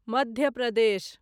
Madhya Pradesh